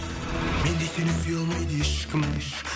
мендей сені сүйе алмайды ешкім